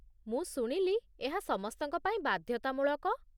ମୁଁ ଶୁଣିଲି ଏହା ସମସ୍ତଙ୍କ ପାଇଁ ବାଧ୍ୟତାମୂଳକ।